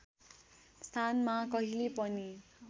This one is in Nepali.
स्थानमा कहिल्यै पनि